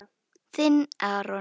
Þinn, Aron.